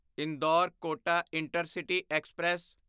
Indore Kota intercity express